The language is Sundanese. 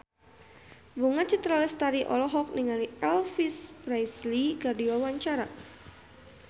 Bunga Citra Lestari olohok ningali Elvis Presley keur diwawancara